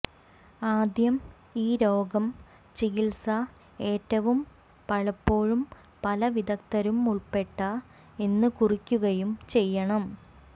ആദ്യം ഈ രോഗം ചികിത്സ ഏറ്റവും പലപ്പോഴും പല വിദഗ്ധരും ഉൾപ്പെട്ട എന്ന് കുറിക്കുകയും ചെയ്യണം